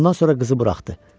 Ondan sonra qızı buraxdı.